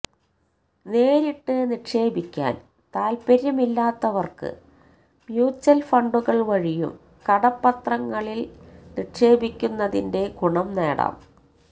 നേരിട്ട് നിക്ഷേപിക്കാന് താല്പര്യമില്ലാത്തവര്ക്ക് മ്യൂച്വല് ഫണ്ടുകള് വഴിയും കടപ്പത്രങ്ങളില് നിക്ഷേപിക്കുന്നതിന്റെ ഗുണംനേടാം